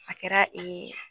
A kɛra ee